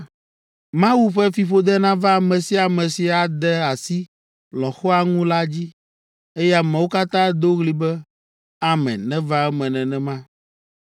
“Mawu ƒe fiƒode nava ame sia ame si ade asi lɔ̃xoa ŋu la dzi.” Eye ameawo katã ado ɣli be, “Amen; neva eme nenema!”